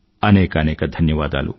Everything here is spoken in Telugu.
అనేకానేక ధన్యవాదాలు